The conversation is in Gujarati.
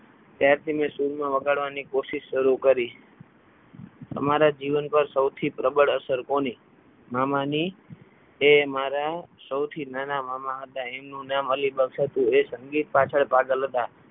ત્યારથી મેં સૂરમાં વગાડવાની કોશિશ શરૂ કરી તમારા જીવન પર સૌથી પ્રબળ અસર કોની મામાની એ મારા સૌથી નાના મામા હતા એમનું નામ અલી બક્ષ હતું એ સંગીત પાછળ પાગલ હતા.